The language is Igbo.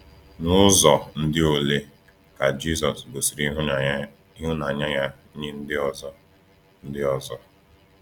N’ụzọ ndị olee ka Jisọs gosiri ịhụnanya ya nye ndị ọzọ? ndị ọzọ?